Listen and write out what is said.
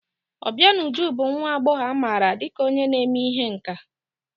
Obianuju bụ nwa agbọghọ amaara dịka onye na-eme ihe nkà.